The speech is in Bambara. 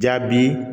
Jaabi